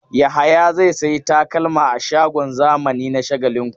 Yahaya zai sayi takalma a shagon zamani na Shagalinku.